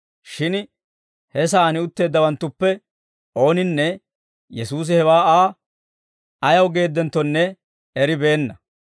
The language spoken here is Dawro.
Shin he sa'aan utteeddawanttuppe ooninne Yesuusi hewaa Aa ayaw geeddenttonne eribeenna.